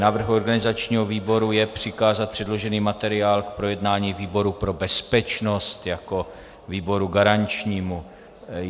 Návrh organizačního výboru je přikázat předložený materiál k projednání výboru pro bezpečnost jako výboru garančnímu.